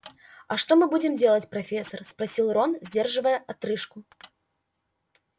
а что мы будем делать профессор спросил рон сдерживая отрыжку